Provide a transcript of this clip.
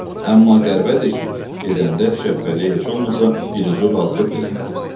Amma qəribədir ki, gedəndə Şəbpəliyə heç olmasa dilucu razılıq da eləmədi.